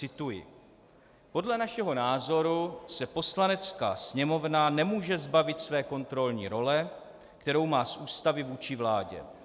Cituji: "Podle našeho názoru se Poslanecká sněmovna nemůže zbavit své kontrolní role, kterou má z Ústavy vůči vládě.